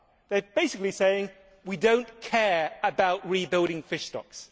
They are basically saying we do not care about rebuilding fish stocks'.